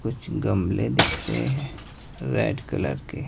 कुछ गमले दिख रहे हैं रेड कलर के--